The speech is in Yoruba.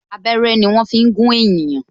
Abẹ́rẹ́ ni wọn fi ń gún ènìyàn